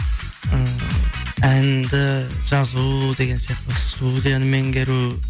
ы әнді жазу деген сияқты студияны меңгеру